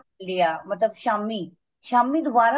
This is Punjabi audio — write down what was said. ਲਿਆ ਮਤਲਬ ਸ਼ਾਮੀ ਸ਼ਾਮੀ ਦੁਬਾਰਾ